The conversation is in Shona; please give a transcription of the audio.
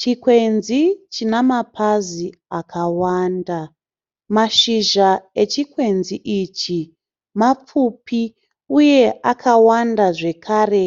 Chikwenzi chinamapazi akawanda. Mashizha echikwenzi ichi mapfupi uye akawanda zvakare